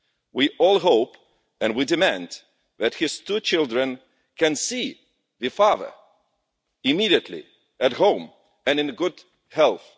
We all hope and we demand that his two children can see their father immediately, at home and in good health.